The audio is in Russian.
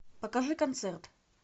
покажи концерт